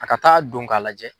A ka taa don k'a lajɛ.